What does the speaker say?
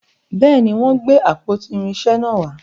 béèni, wón gbé àpótí irinṣẹ nà wà.